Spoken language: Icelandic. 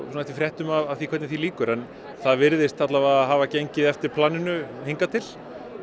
eftir fréttum af því hvernig því lýkur en það virðist hafa gengið eftir planinu hingað til